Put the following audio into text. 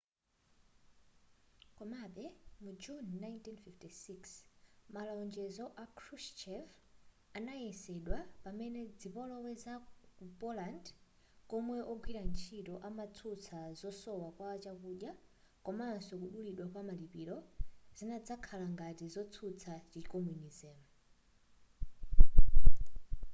komabe mu juni 1956 malonjezo a krushchev anayesedwa pamene zipolowe ku poland komwe ogwira ntchito amatsutsa kusowa kwa chakudya komanso kudulidwa kwa malipiro zinadzakhala ngati zotsutsa chi communism